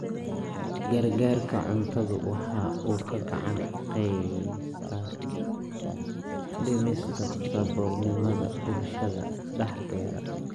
Gargaarka cuntadu waxa uu gacan ka geystaa dhimista saboolnimada bulshada dhexdeeda.